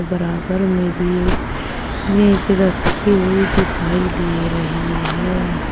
बराबर में भी मेज रखी हुई दिखाई दे रही है।